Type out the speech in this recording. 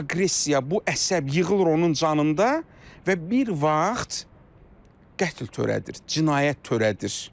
Bu aqressiya, bu əsəb yığılır onun canında və bir vaxt qətl törədir, cinayət törədir.